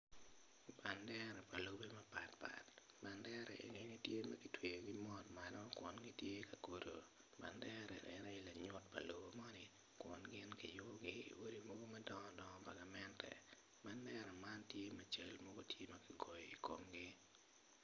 Bandera lobe mapat pat bandera enoni tye ma kitweyogi malo kun gitye ka kodo bandera en aye lanyut pa lobo moni kun gingiyubogi odi mogo madongo dongo pa gamente bandera man tye ma cal mogo tye ma kigoyo i komgi.